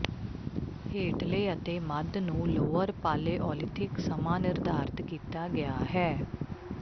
ਹੇਠਲੇ ਅਤੇ ਮੱਧ ਨੂੰ ਲੋਅਰ ਪਾਲੇਓਲੀਥਿਕ ਸਮਾਂ ਨਿਰਧਾਰਤ ਕੀਤਾ ਗਿਆ ਹੈ